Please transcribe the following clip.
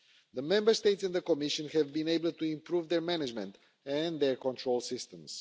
The Member States and the Commission have been able to improve their management and their control systems.